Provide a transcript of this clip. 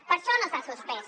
per això no s’ha suspès